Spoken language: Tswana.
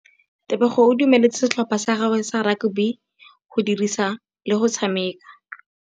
Tebogô o dumeletse setlhopha sa gagwe sa rakabi go dirisa le galê go tshameka.